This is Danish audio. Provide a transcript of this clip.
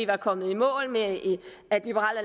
være kommet i mål med at liberal